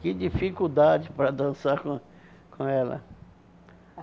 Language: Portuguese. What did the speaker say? Que dificuldade para dançar com com ela.